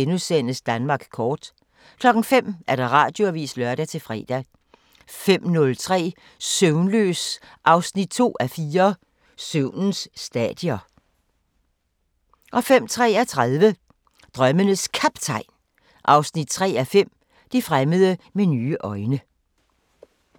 04:53: Danmark kort * 05:00: Radioavisen (lør-fre) 05:03: Søvnløs 2:4 – Søvnens stadier 05:33: Drømmenes Kaptajn 3:5 – Det fremmede med nye øjne